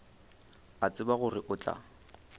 a tseba gore o tla